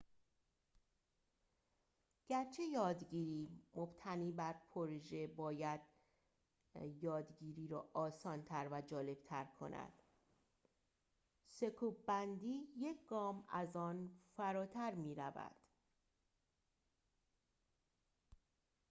گرچه یادگیری مبتنی بر پروژه باید یادگیری را آسان‌تر و جالب‌تر کند سکوب‌بندی یک گام از آن فراتر می‌رود